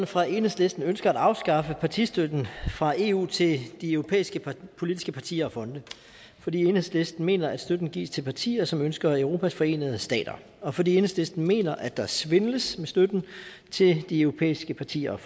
fra enhedslisten ønsker at afskaffe partistøtten fra eu til de europæiske politiske partier og fonde fordi enhedslisten mener at støtten gives til partier som ønsker europas forenede stater og fordi enhedslisten mener at der svindles med støtten til de europæiske partier og